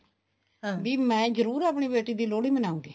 ਵੀ ਮੈਂ ਜਰੁਰ ਆਪਣੀ ਬੇਟੀ ਦੀ ਲੋਹੜੀ ਮਨਾਉਗੀ